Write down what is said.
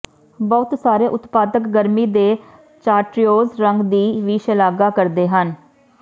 ਬਹੁਤ ਸਾਰੇ ਉਤਪਾਦਕ ਗਰਮੀ ਦੇ ਚਾਰਟਰਿਊਜ਼ ਰੰਗ ਦੀ ਵੀ ਸ਼ਲਾਘਾ ਕਰਦੇ ਹਨ